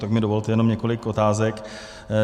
Tak mi dovolte jenom několik otázek.